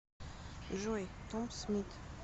джой том смит